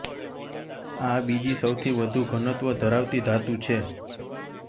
આ બીજી સૌથી વધુ ઘનત્વ ધરાવતી ધાતુ છે